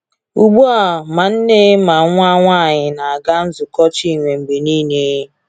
Ugbu a, ma nne ma nwa nwanyị na-aga nzukọ Chinwe mgbe niile.